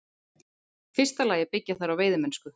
fyrsta lagi byggja þær á veiðimennsku.